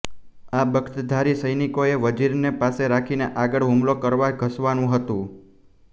આ બખ્તરધારી સૈનિકોએ વઝીરને પાસે રાખીને આગળ હુમલો કરવા ધસવાનું હતું